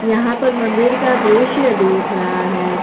यहां पर मंदिर का दृश्य दिख रहा है।